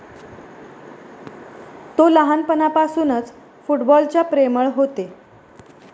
तो लहानपणापासूनच फुटबॉल च्या प्रेमळ होते.